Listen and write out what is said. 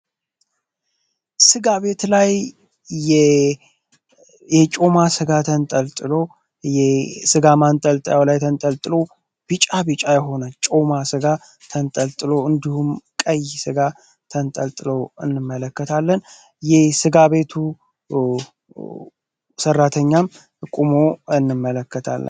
ስጋ የተለያዩ የጮማ ስጋ ጥሎ የስጋ ማንጠልጠያው ላይ ተንጠልጥሎ ቢጫ ቢጫ የሆነች ጋ ተንጠልጥሎ እንዲሁም ቀይ ጋ ተንጠልጥለው እንመለከታለን የጋ ቤቱ ሰራተኛም ቁሞ እንመለከታለን